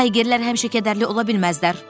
Taylerlər həmişə kədərli ola bilməzlər.